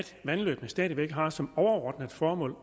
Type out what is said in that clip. vandløbene stadig væk har som overordnet formål